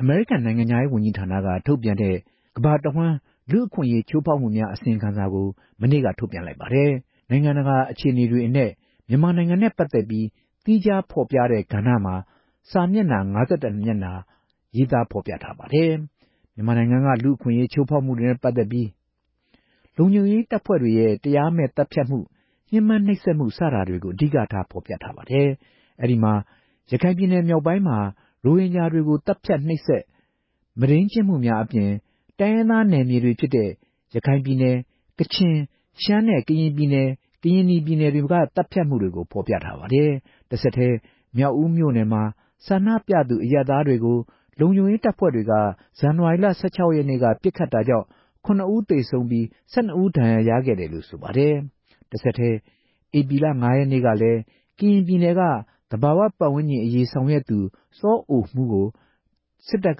အမေရိကန်နိုင်ငံခြားရေးဝန်ကြီးဌာနက ထုတ်ပြန်တဲ့ ကမ္ဘာတဝှမ်း လူ့အခွင့်အရေးချိုးဖောက်မှုများ အစီရင်ခံစာကို မနေ့က ထုတ်ပြန်လိုက်ပါတယ်။ နိုင်ငံတကာ အခြေအနေတွေအနက် မြန်မာနိုင်ငံနဲ့ ပတ်သက်ပြီး သီးခြားဖော်ပြထားတဲ့ ကဏ္ဍမှာ စာမျက်နှာ ၅၁ မျက်နှာ ပါရှိပါတယ်။ မြန်မာနိုင်ငံက လူ့အခွင့်အရေးချိုးဖောက်မှုများနဲ့ ပတ်သက်ပြီး ရေးသားထားတာမှာ လုံခြုံရေးတပ်ဖွဲ့တွေရဲ့ တရားမဲ့သတ်ဖြတ်မှု ညှင်းပန်းနှိပ်စက်မှု စတာတွေကို အဓိကဖော်ပြထားပါတယ်။ အဲ့ဒီမှာ ရခိုင်ပြည်နယ်မြောက်ပိုင်းမှာ ရိုဟင်ဂျာတွေကို သတ်ဖြတ်နှိပ်စက်မုဒိမ်းကျင့်မှုများအပြင် တိုင်းရင်းသားနယ်မြေတွေဖြစ်တဲ့ ရခိုင်ပြည်နယ်၊ ကချင်နဲ့ ရှမ်းပြည်နယ် ကရင်ပြည်နယ်နဲ့ ကရင်နီပြည်နယ်က သတ်ဖြတ်မှုတွေကို ဖော်ပြထားပါတယ်။ တဆက်တည်း မြောက်ဦးမြို့မှာ ဆန္ဒပြသူ အရပ်သားတွေကို လုံခြုံရေးတပ်ဖွဲ့တွေက ဇန်နဝါရီလ ၁၆ရက်နေ့က ပစ်ခတ်တာကြောင့် ၇ ဦးသေဆုံးပြီး ၁၂ဦး ဒဏ်ရာရခဲ့တယ်လို့ ဆိုပါတယ်။ တဆက်တည်း ဧပြီလ ၅ရက်နေ့ကလည်း ကရင်ပြည်နယ်က သဘာဝပတ်ဝန်းကျင်အရေး ဆောင်ရွက်သူ စောအိုမှုးကို စစ်တပ်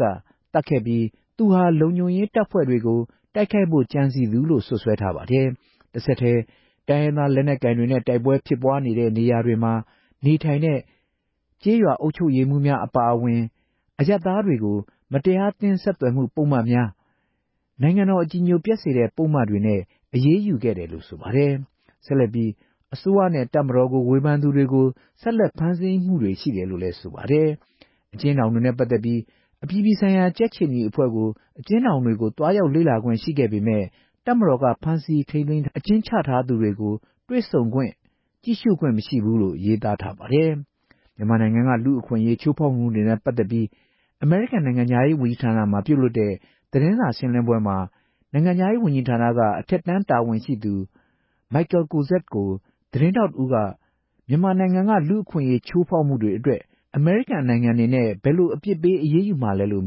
ကသတ်ခဲ့ပြီး သူဟာ လုံခြုံရေးတပ်ဖွဲ့တွေကို တိုက်ခိုက်ဖို့ ကြံစည်သူလို့ စွပ်စွဲထားပါတယ်။ တဆက်တည်း တိုင်းရင်းသားလက်နက်ကိုင်တွေနဲ့ တိုက်ပွဲတွေဖြစ်ပွားတဲ့ နေရာမှာ နေထိုင်တဲ့ ကျေးရွာအုပ်ချုပ်ရေးမှူးများ အပါအဝင် အရပ်သားများကို မတရားသင်းဆက်သွယ်မှုပုဒ်မများ နိုင်ငံတော် အကြည်ညိုပျက်စေတဲ့ ပုဒ်မတွေနဲ့ အရေးယူခဲ့တယ်လို့ ဆိုပါတယ်။ ဆက်လက်ပြီး အစိုးရနဲ့ တပ်မတော်ကို ဝေဖန်သူတွေကို ဆက်လက်ဖမ်းဆီးမှုတွေလည်း ရှိနေတယ်လို့ ဆိုပါတယ်။ အကျဉ်းထောင်များနဲ့ပတ်သက်ပြီး အပြည်ပြည်ဆိုင်ရာ ကြက်ခြေနီအဖွဲ့ကို အကျဉ်းထောင်တွေကို သွားရောက်လေ့လာခွင့်ရှိခဲ့ပေမယ့် တပ်မတော်က ဖမ်းဆီးထားသူတွေ အကျဉ်းချထားသူတွေကို တွေ့ဆုံခွင့်ကြည့်ရှုခွင့်မရှိဘူးလို့ ရေးထားပါတယ်။ မြန်မာနိုင်ငံက လူ့အခွင့်အရေး ချိုးဖောက်မှုတွေနဲ့ ပတ်သက်ပြီး အမေရိကန်နိုင်ငံခြားရေးဝန်ကြီးဌာနမှာ ပြုလုပ်တဲ့ သတင်းစာရှင်းလင်းပွဲမှာ နိုင်ငံခြားရေးဝန်ကြီးဌာန အထက်တန်းတာဝန်ရှိပုဂ္ဂိုလ် Michael Kozak ကို သတင်းထောက်တဦး က မြန်မာနိုင်ငံက လူ့အခွင့်အရေးချိုးဖောက်မှုတွေအတွက် အမေရိကန်နိုင်ငံအနေနဲ့ ဘယ်လိုအပြစ်ပေး အရေးယူမလဲလို့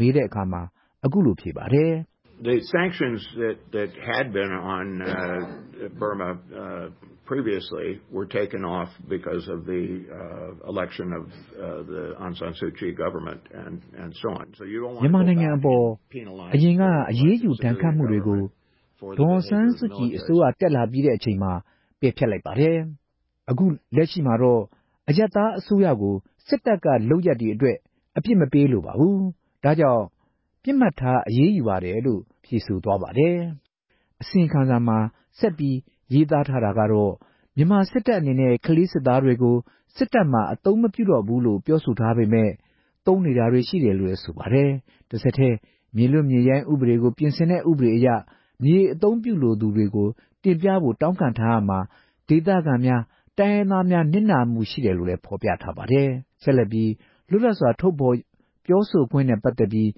မေးတဲ့အခါ ခုလိုဖြေပါတယ်။ မြန်မာနိုင်ငံအပေါ်အရင်က ချမှတ်ထားတဲ့ အရေးယူဒဏ်ခတ်မှုတွေကို ရွေးကောက်တင်မြောက်ခံရတဲ့ ဒေါ်အောင်ဆန်းစုကြည်အစိုးရ တက်လာချိန်မှာ ပယ်ဖျက်ထားပါတယ်။ အခုတော့ စစ်တပ်က လုပ်ရပ်အတွက် အရပ်သားအစိုးရကို အပြစ်မပေးလိုတာကြောင့် ပစ်မှတ်ထားအရေးယူပါတယ်လို့ ပြောပါတယ်။ အစီရင်ခံစာမှာ ဆက်ပြီးရေးထားတာက မြန်မာစစ်တပ်အနေနဲ့ ခလေးစစ်သားတွေကို စစ်တပ်မှာ အသုံးမပြုတော့ဘူးလို့ ပြောဆိုထားပေမယ့် သုံးနေတာတွေ ရှိသေးတယ်လို့ ဆိုပါတယ်။ တဆက်တည်း မြေလွတ်မြေရိုင်းဥပဒေကိုပြင်ဆင်တဲ့ ဥပဒေအရ မြေအသုံးပြုလိုသူတွေကို တင်ပြဖို့ တောင်းခံထားရာမှာ ဒေသခံများ တိုင်းရင်းသားများ နစ်နာမှုရှိတယ်လို့ ဖော်ပြထားပါတယ်။ တဆက်တည်း လွတ်လပ်စွာ ထုတ်ဖော်ပြောဆိုခွင့်နဲ့ ပတ်သက်ပြီး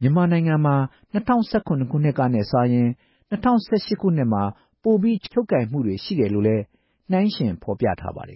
မြန်မာနိုင်ငံမှာ ၂ဝ၁၇ခုနှစ်ထက်စာရင် ၂ဝ၁၈ခုနှစ်မှာ ပိုပြီး ချုပ်ကိုင်မှုတွေရှိတယ်လို့ နှိုင်းယှဉ်ဖော်ပြထားပါတယ်